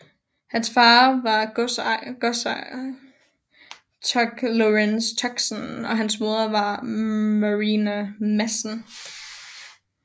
Hans far var godsejer Tucke Lorenzen Tuxen og hans moder var Marina Madsen